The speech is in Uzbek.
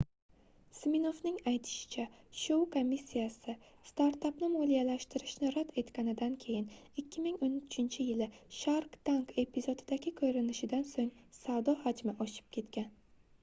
siminoffning aytishicha shou komissiyasi startapni moliyalashtirishni rad etganidan keyin 2013-yili shark tank epizodidagi koʻrinishidan soʻng savdo hajmi oshib ketgan